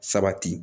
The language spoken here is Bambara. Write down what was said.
Sabati